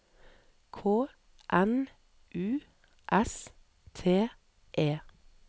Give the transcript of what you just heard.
K N U S T E